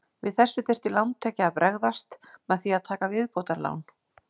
Við þessu þyrfti lántaki að bregðast með því að taka viðbótarlán.